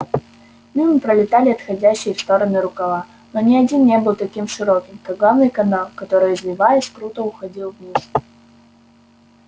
мимо пролетали отходящие в стороны рукава но ни один не был таким широким как главный канал который извиваясь круто уходил вниз